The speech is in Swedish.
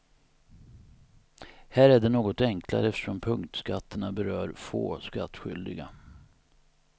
Här är det något enklare eftersom punktskatterna berör få skattskyldiga.